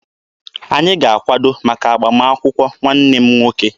Anyị ga-akwado maka agbamakwụkwọ nwanne m nwoke.